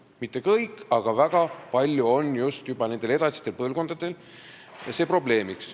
See ei käi kõigi kohta, aga väga palju on just nendel järgmistel põlvkondadel seda probleemi.